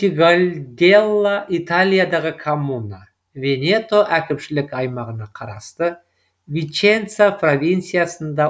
монтегальделла италиядағы коммуна венето әкімшілік аймағына қарасты виченца провинциясында